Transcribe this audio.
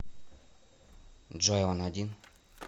джой он один